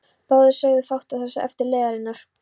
Báðir sögðu fátt það sem eftir var leiðarinnar.